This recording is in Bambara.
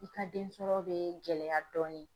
I ka densɔrɔ bɛ gɛlɛya dɔɔnin.